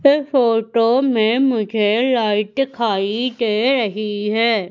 इस फोटो में मुझे लाइट दिखाई दे रही है।